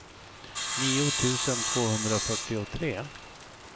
nio tusen tvåhundrafyrtiotre